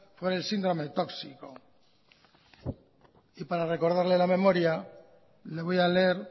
por el síndrome tóxico y para recordarle a la memoria le voy a leer